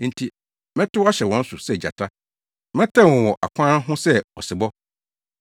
Enti mɛtow ahyɛ wɔn so sɛ gyata, mɛtɛw wɔn wɔ akwan ho sɛ ɔsebɔ.